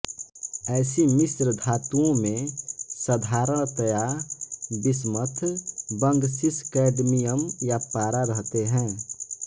ऐसी मिश्रधातुओं में साधारणतया बिस्मथ बंग सीस कैडमियम या पारा रहते हैं